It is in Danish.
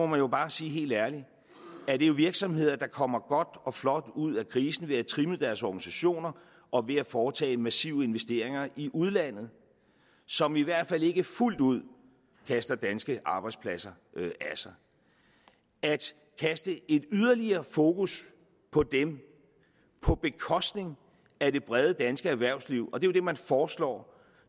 man jo bare sige helt ærligt at det er virksomheder der kommer godt og flot ud af krisen ved at trimme deres organisationer og ved at foretage massive investeringer i udlandet som i hvert fald ikke fuldt ud kaster danske arbejdspladser af sig at sætte yderligere fokus på dem på bekostning af det brede danske erhvervsliv og det er jo det man foreslår